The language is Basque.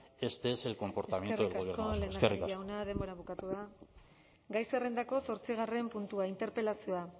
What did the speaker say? este es el comportamiento del gobierno vasco eskerrik asko eskerrik asko lehendakari jauna denbora bukatu da gai zerrendako zortzigarren puntua interpelazioa